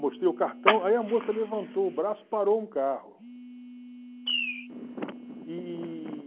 Mostrei o cartão, aí a moça levantou o braço e parou um carro. E